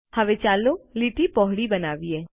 હવે ચાલો લીટી પહોળી બનાવીએ